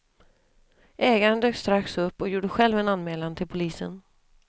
Ägaren dök strax upp och gjorde själv en anmälan till polisen.